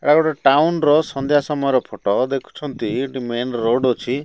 ଏହା ଗୋଟେ ଟାଉନ ର ସନ୍ଧ୍ୟା ସମୟର ଫୋଟ ଦେଖୁଛନ୍ତି ଏଠି ମେନ ରୋଡ ଅଛି।